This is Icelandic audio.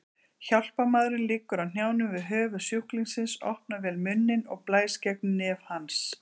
Hjálparmaðurinn liggur á hnjánum við höfuð sjúklingsins, opnar vel munninn og blæs gegnum nef hans.